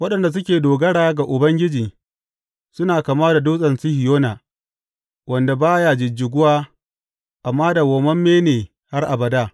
Waɗanda suke dogara ga Ubangiji suna kama da Dutsen Sihiyona, wanda ba ya jijjiguwa amma dawwammame ne har abada.